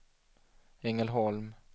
Ängelholm